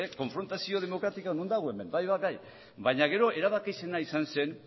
konfrontazio demokratikoa non dago hemen bai baina gero erabaki ez zena izan zen